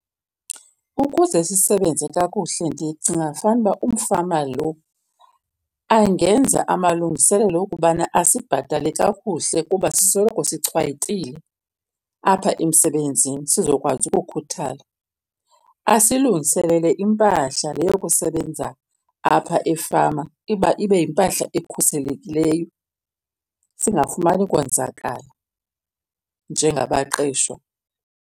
Ukuze sisebenze kakuhle ndicinga fanuba umfama lo angenza amalungiselelo okubana asibhatale kakuhle kuba sisoloko sichwayitile apha emsebenzini sizokwazi ukukhuthala. Asilungiselele impahla le yokusebenza apha efama iba ibe yimpahla ekhuselekileyo singafumani konzakala njengabaqeshwa.